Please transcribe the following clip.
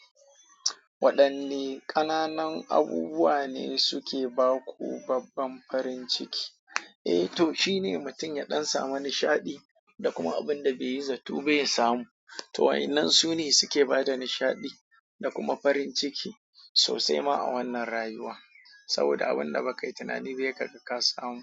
Waɗanne ƙananan abubuwa ne suke ba ku babban farin ciki? Eh to, shine mutum ya ɗan samu nishaɗi da kuma abin da bai yi zatto ba ya samu. To waɗannan su ne suke bada nishaɗi da kuma farin ciki sosai ma a wannan rayuwa. Saboda abin da ba ka yi tunani ba yai kaga ka samu.